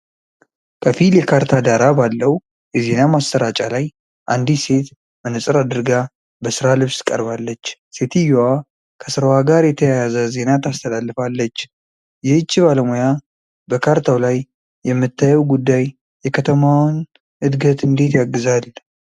ከፊል የካርታ ዳራ ባለው የዜና ማሠራጫ ላይ አንዲት ሴት መነፅር አድርጋ በስራ ልብስ ቀርባለች። ሴትየዋ ከስራዋ ጋር የተያያዘ ዜና ታስተላልፋለችአለ። ይህች ባለሙያ በካርታው ላይ የምታየው ጉዳይ የከተማዋን እድገት እንዴት ያግዛል?